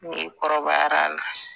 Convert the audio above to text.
N'i kɔrɔbayara